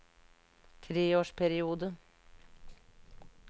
treårsperiode